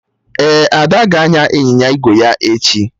Ee, Ada ga-anya ịnyịnya ígwè ya echi